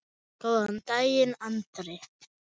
Góðan dag, Andri!